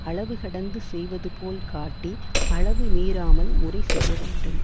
அளவு கடந்து செய்வது போல் காட்டி அளவு மீறாமல் முறை செய்ய வேண்டும்